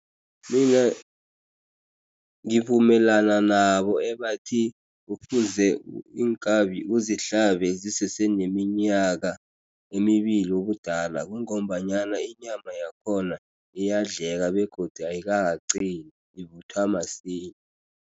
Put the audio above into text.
Mina ngivumelana nabo ebathi kufuze iinkabi uzihlabe zisese neminyaka emibili ubudala, kungombanyana inyama yakhona iyadleka begodu ayikakaqini, ivuthwa masinya.